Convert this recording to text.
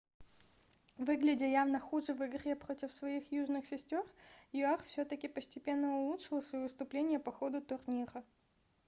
выглядя явно хуже в игре против своих южных сестер юар все-таки постепенно улучшила своё выступление по ходу турнира